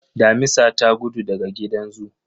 Damisa ta gudu daga gidan zoo